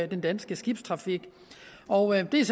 den danske skibstrafik og det er